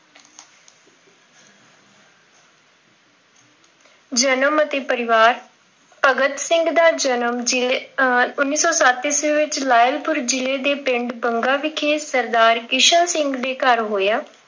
ਜਨਮ ਅਤੇ ਪਰਿਵਾਰ, ਭਗਤ ਸਿੰਘ ਦਾ ਜਨਮ ਜ਼ਿਲ੍ਹੇ ਆਹ ਉੱਨੀ ਸੌ ਸੱਤ ਈਸਵੀਂ ਲਾਇਲਪੁਰ ਜ਼ਿਲ੍ਹੇ ਦੇ ਪਿੰਡ ਬੰਗਾ ਵਿਖੇ ਸਰਦਾਰ ਕਿਸ਼ਨ ਸਿੰਘ ਦੇ ਘਰ ਹੋਇਆਂ।